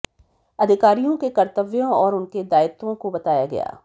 अधिकारियों के कर्तव्यों और उनके दायित्वों को बताया गया